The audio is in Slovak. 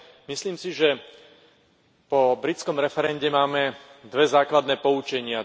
Myslím si, že po britskom referende máme dve základné poučenia.